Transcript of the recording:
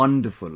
Wonderful